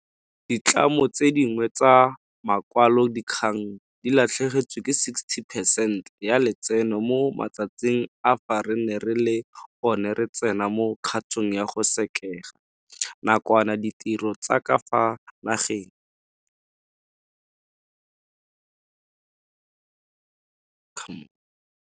Ditlamo tse dingwe tsa makwalodikgang di latlhegetswe ke 60 percent ya letseno mo matsatsing a fa re ne re le gone re tsena mo kgatong ya go sekega nakwana ditiro tsa ka fa nageng.